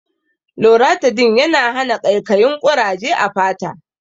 Loratidin yana hana ƙaikayin ƙuraje a fata